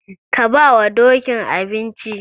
Ka bawa Dokin abinci.